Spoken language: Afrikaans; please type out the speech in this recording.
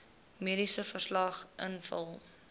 mediese verslag invul